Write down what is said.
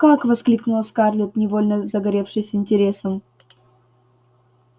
как воскликнула скарлетт невольно загоревшись интересом